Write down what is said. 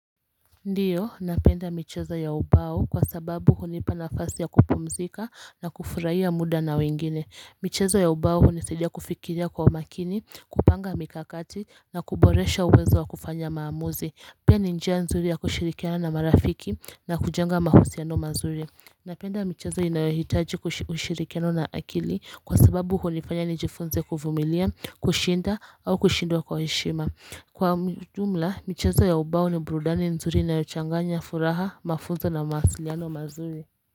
Ndiyo, napenda michezo ya ubao kwa sababu hunipa nafasi ya kupumzika na kufurahia muda na wengine. Michezo ya ubao hunisaidia kufikiria kwa umakini, kupanga mikakati na kuboresha uwezo wa kufanya maamuzi. Pia ni njia nzuri ya kushirikiana na marafiki na kujenga mahusiano mazuri. Napenda michezo inayohitaji kushiri ushirikiano na akili kwa sababu hunifanya nijifunze kuvumilia, kushinda au kushindwa kwa heshima. Kwa mjumla, michezo ya ubao ni burudani nzuri inayo changanya furaha, mafunzo na mawasiliano mazuri.